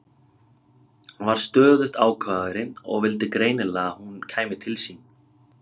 Hann varð stöðugt ákafari og vildi greinilega að hún kæmi til sín.